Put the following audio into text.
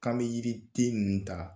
K'an mɛ yiriden nin ta